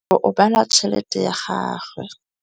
Rakgwêbô o bala tšheletê ya gagwe.